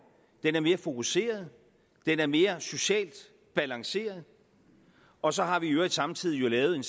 den er mere fokuseret den er mere socialt balanceret og så har vi jo i øvrigt samtidig lavet en